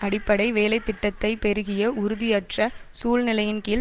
அடிப்படை வேலை திட்டத்தை பெருகிய உறுதியற்ற சூழ்நிலையின் கீழ்